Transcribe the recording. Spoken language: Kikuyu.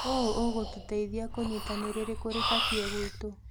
ũũ ũgũtũteithia kũnyita nĩ rĩrĩkũ rĩbatie gwitũ.